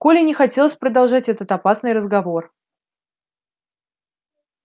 коле не хотелось продолжать этот опасный разговор